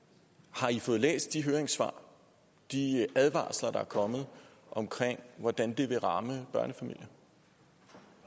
har i fået læst de høringssvar de advarsler der er kommet om hvordan det vil ramme børnefamilier og